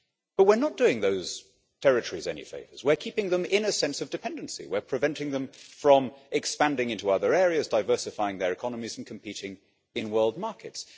But we're not doing those territories any favours. We are keeping them in a sense of dependency, we are preventing them from expanding into other areas, diversifying their economies and competing in world markets.